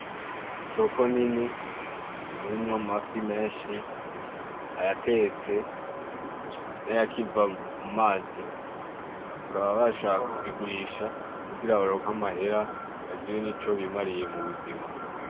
Isoko nini irimwo amafi menshi ,ayatetse n’ayakiva mu mazi , bakaba bashaka kuyagurisha kugira baronke amahera bagura nico bimariye mu buzima.